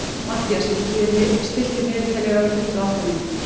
Mathías, stilltu niðurteljara á tuttugu og átta mínútur.